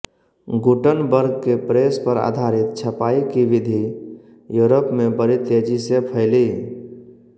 Gutenberg के press पर आधारित छपाई की विधि योरप में बड़ी तेजी से फैली